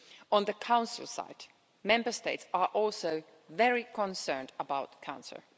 On the Council side, Member States are also very concerned about cancer.